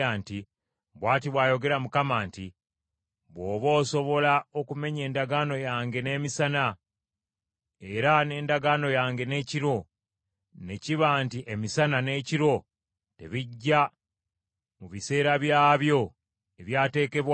“Bw’ati bw’ayogera Mukama nti, ‘Bw’oba osobola okumenya endagaano yange n’emisana era n’endagaano yange n’ekiro, ne kiba nti emisana n’ekiro tebijja mu biseera byabyo ebyateekebwawo,